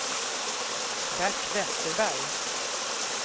Bert Vesterberg